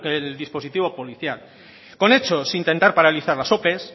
el dispositivo policial con hechos intentar paralizar las ope